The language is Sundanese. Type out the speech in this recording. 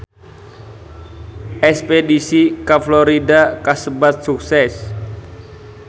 Espedisi ka Florida kasebat sukses